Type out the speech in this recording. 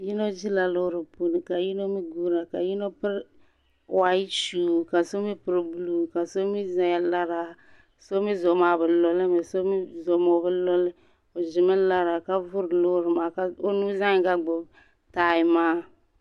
Yino ʒila loori puuni ka yino mi guuyi na ka yino mi piri whayite shuu ka so mi piri buluu ka so mi zaya lara so mi zuɣu maa bi lɔli mi so mi zuɣu maa o bi lɔli o ʒi mi lara ka buri loori ka o nuu zaɣa yinga gbubi taayi maa.